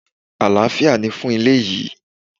Alafia ni fún ilé yìí!